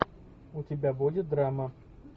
у тебя будет драма